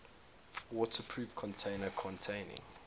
waterproof container containing